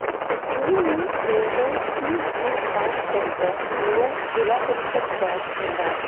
इस तस्वीर मे Shende tea and paan centre near Zilla Parishad Chowk Bhandara--